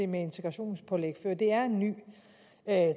med integrationspålæg før det er en ny